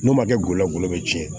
N'o ma kɛ golo lagolo cɛn